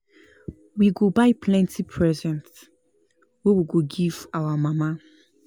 We go buy plenty present wey we go give our mama.